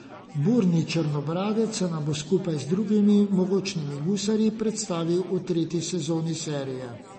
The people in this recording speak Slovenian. Burni Črnobradec se nam bo skupaj z drugimi mogočnimi gusarji predstavil v tretji sezoni serije.